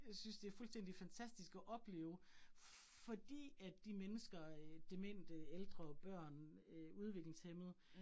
Jeg synes det fuldstændig fantastisk at opleve fordi at de mennesker øh, demente, ældre, børn, øh udviklingshæmmede